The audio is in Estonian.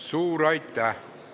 Suur aitäh!